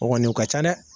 O kɔni o ka ca dɛ